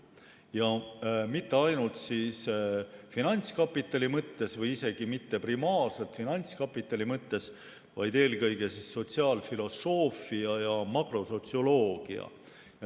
Ja mitte ainult finantskapitali mõttes või isegi mitte primaarselt finantskapitali mõttes, vaid eelkõige sotsiaalfilosoofia ja makrosotsioloogia mõttes.